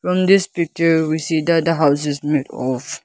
from this picture we see that the houses made of.